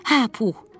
Hə, Pux.